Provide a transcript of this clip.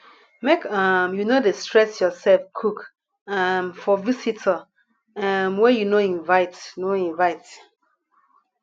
make um you no dey stress yoursef cook um for visitor um wey you no invite no invite